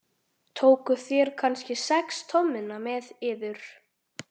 Tókuð þér kannski sex tommuna með yður?